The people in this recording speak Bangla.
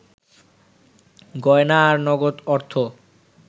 গয়না আর নগদ অর্থ